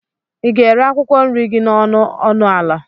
ị ga-ere akwụkwọ nri gị n'ọnụ ọnụ ala?